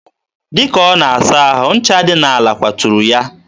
dịka ọ na-asa ahụ, ncha dị n'ala kwaturu ya.